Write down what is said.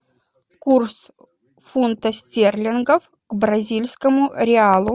курс фунта стерлингов к бразильскому реалу